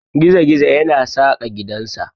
Gizi-gizo yana saka gidansa.